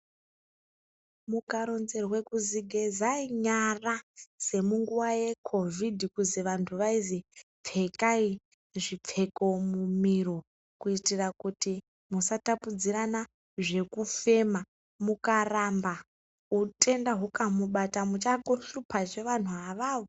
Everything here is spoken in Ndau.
Mukaronzerwe kuti gezai nyara semunguva yemucovid vandu vaironzerwe kuti pfekai zviro mumiro kuitira kuti musatapudzirana zvekufema mukaramba utenda ukamubata muchaakohlupa zvee vanhu avavo.